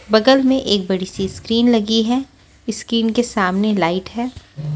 बगल में एक बड़ी सी स्क्रीन लगी है स्किन के सामने लाइट है।